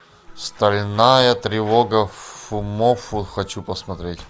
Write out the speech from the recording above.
стальная тревога фумоффу хочу посмотреть